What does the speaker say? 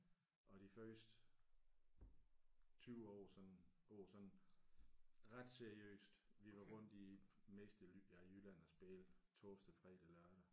Og de første 20 år sådan går sådan ret seriøst vi var rundt i meste af ja Jylland og spille torsdag fredag lørdag